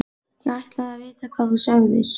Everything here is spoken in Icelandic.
Ég ætlaði að vita hvað þú segðir.